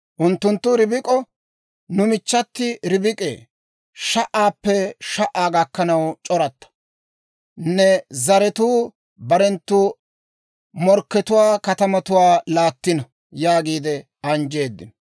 Unttunttu Ribik'o, «Nu michchati Ribik'ee, sha"aappe sha"aa gakkanaw c'oratta. Ne zaratuu barenttu morkkatuwaa katamatuwaa laattino» yaagiide anjjeeddino.